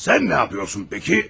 Sən nə edirsən bəs?